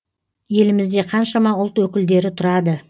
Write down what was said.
елімізде қаншама ұлт өкілдері тұрады